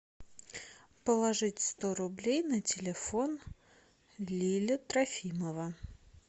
положить сто рублей на телефон лиля трофимова